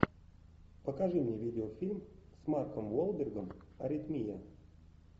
покажи мне видеофильм с марком уолбергом аритмия